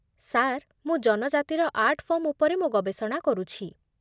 sir, ମୁଁ ଜନଜାତିର art form ଉପରେ ମୋ ଗବେଷଣା କରୁଛି